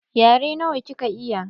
Yare nawa kika iya?